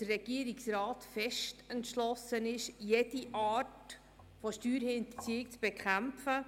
Der Regierungsrat ist fest entschlossen, jede Art von Steuerhinterziehung zu bekämpfen.